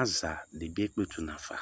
Azadɩ bɩ ekpletu nafa